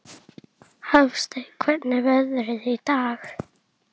Hafsteinn, hvernig er veðrið í dag?